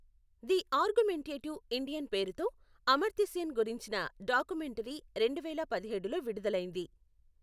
The argumentative Indian పేరుతో అమర్త్యసేన్ గురించిన documentary రెండువేల పదిహేడులో విడుదలైంది.